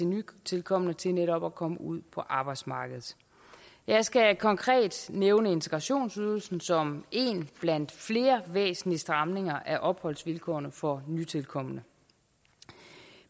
nytilkomne til netop at komme ud på arbejdsmarkedet jeg skal konkret nævne integrationsydelsen som en blandt flere væsentlige stramninger af opholdsvilkårene for nytilkomne